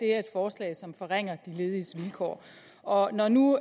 er et forslag som forringer de lediges vilkår og når nu